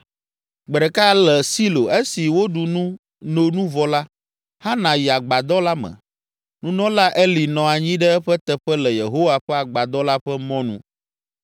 Gbe ɖeka le Silo, esi woɖu nu, no nu vɔ la, Hana yi Agbadɔ la me, nunɔla Eli nɔ anyi ɖe eƒe teƒe le Yehowa ƒe Agbadɔ la ƒe mɔnu.